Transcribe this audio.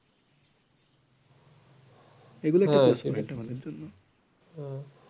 এগুলো